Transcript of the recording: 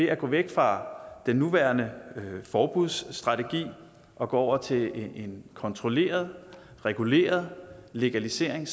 at gå væk fra den nuværende forbudsstrategi og gå over til en kontrolleret reguleret legalisering